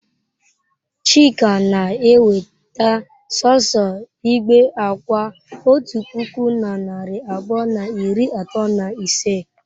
Chika na-eweta sọọsọ igbe akwa otu puku na narị abụọ na iri atọ na ise?